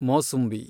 ಮೋಸುಂಬಿ